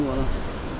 Sınır, vallah.